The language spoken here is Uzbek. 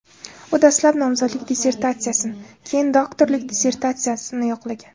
U dastlab nomzodlik dissertatsiyasini, keyin doktorlik dissertatsiyasini yoqlagan.